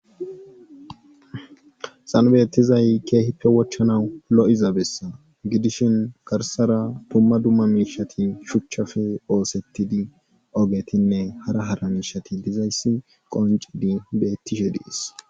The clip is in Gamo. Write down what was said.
xanbeettizay keehippe wochchanawu lo7izabessa gidishin karsara tumma dumma miishati shuchchafe oosettidi ogetinne hara hara miishati dizayssi qonci di bettishe diis